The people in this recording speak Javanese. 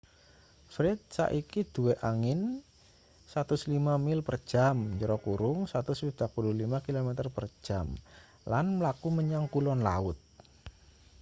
fred saiki duwe angin 105 mil per jam 165 km/j lan mlaku menyang kulon laut